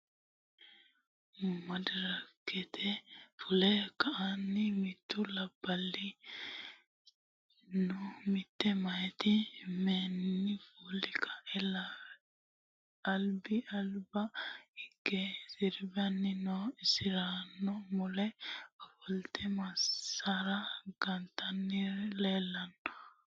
madirakete fulle ka'eenitinni mittu labahunna mitte mayiti miteenni fulle ka'e alibba alibba higge siribanni no insaranno mulle ofolitte masaara gantanori leelitanno